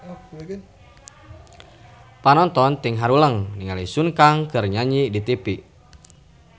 Panonton ting haruleng ningali Sun Kang keur nyanyi di tipi